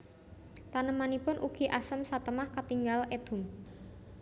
Tanemanipun ugi Asem satemah katingal edhum